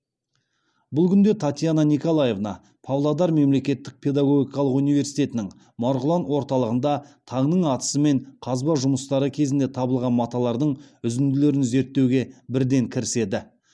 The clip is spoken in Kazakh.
бұл күнде татьяна николаевна павлодар мемлекеттік педагогикалық университетінің марғұлан орталығында таңның атысымен қазба жұмыстары кезінде табылған маталардың үзінділерін зерттеуге бірден кіріседі